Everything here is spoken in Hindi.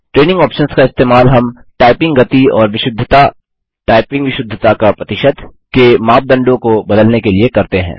ट्रेनिंग आप्शंस का इस्तेमाल हम टाइपिंग गति और विशुद्धताटाइपिंग विशुद्धता का प्रतिशत के मापदंडों को बदलने के लिए करते हैं